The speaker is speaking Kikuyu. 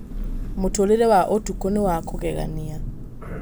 Mũtũũrĩre wa ũtukũ nĩ wa kũgegania.